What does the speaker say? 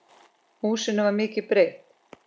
Húsinu var mikið breytt.